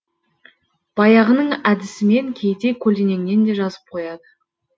баяғының әдісімен кейде көлденеңінен де жазып қояды